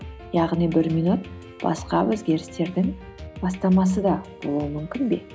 яғни бір минут басқа өзгерістердің бастамасы да болуы мүмкін бе